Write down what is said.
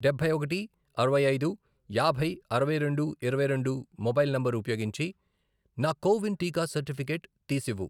డబ్బై ఒకటి, అరవై ఐదు, యాభై, అరవై రెండు, ఇరవై రెండు, మొబైల్ నంబర్ ఉపయోగించి నా కో విన్ టీకా సర్టిఫికేట్ తీసివ్వు.